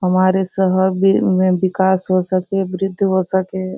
हमारे शहर वि में विकास हो सके वृद्धि हो सके।